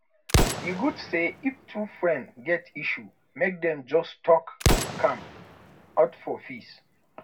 e good say if two friends get issue make dem just talk am out for peace